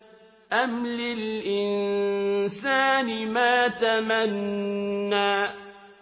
أَمْ لِلْإِنسَانِ مَا تَمَنَّىٰ